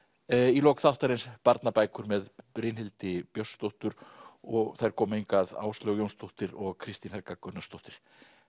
í lok þáttarins barnabækur með Brynhildi Björnsdóttur og þær koma hingað Áslaug Jónsdóttir og Kristín Helga Gunnarsdóttir